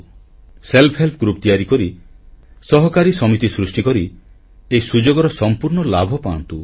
ସ୍ବୟଂ ସହାୟକ ଗୋଷ୍ଠୀ ତିଆରି କରି ସହକାରୀ ସମିତି ସୃଷ୍ଟିକରି ଏହି ସୁଯୋଗର ସମ୍ପୂର୍ଣ୍ଣ ଲାଭ ପାଆନ୍ତୁ